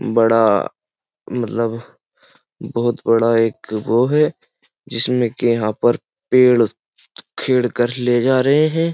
बड़ा मतलब बहुत बड़ा एक वो है जिसमें के यहाँ पर पेड़ खेड़ कर ले जा रहे है।